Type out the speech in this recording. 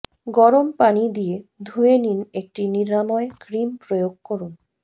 গরম পানি দিয়ে ধুয়ে নিন একটি নিরাময় ক্রিম প্রয়োগ করুন